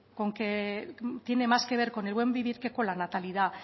tiene más que ver con el buen vivir que con la natalidad